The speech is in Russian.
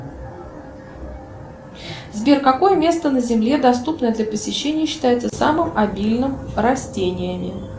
сбер какое место на земле доступное для посещения считается самым обильным растениями